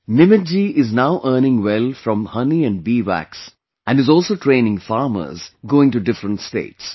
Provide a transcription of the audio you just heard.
Nimit ji is now earning well from honey and Bee Wax, and is also training farmers, going to different states